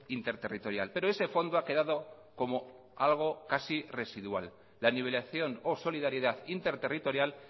interterritorial pero ese fondo ha quedado como algo casi residual la nivelación o solidaridad interterritorial